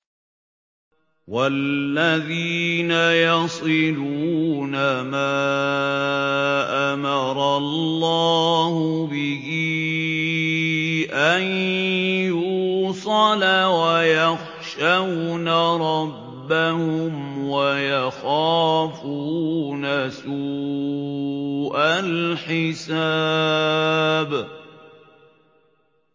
وَالَّذِينَ يَصِلُونَ مَا أَمَرَ اللَّهُ بِهِ أَن يُوصَلَ وَيَخْشَوْنَ رَبَّهُمْ وَيَخَافُونَ سُوءَ الْحِسَابِ